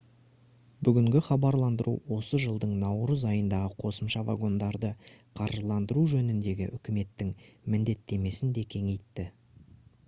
бүгінгі хабарландыру осы жылдың наурыз айындағы қосымша вагондарды қаржыландыру жөніндегі үкіметтің міндеттемесін де кеңейтті